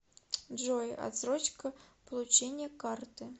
джой отсрочка получения карты